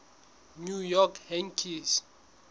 new york yankees